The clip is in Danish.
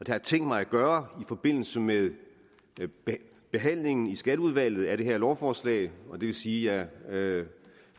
jeg tænkt mig at gøre i forbindelse med behandlingen i skatteudvalget af det her lovforslag det vil sige at jeg